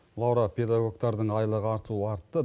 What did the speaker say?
лаура педагогтардың айлығы артуы артты